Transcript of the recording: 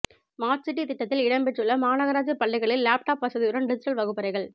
smart city திட்டத்தில் இடம்பெற்றுள்ள மாநகராட்சி பள்ளிகளில் லேப்டாப் வசதியுடன் டிஜிட்டல் வகுப்பறைகள்